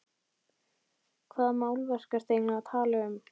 Hvaða málverk ertu eiginlega að tala um?